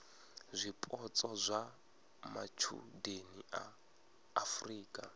zwipotso zwa matshudeni a afurika